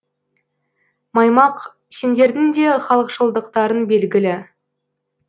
маймақ сендердің де халықшылдықтарың белгілі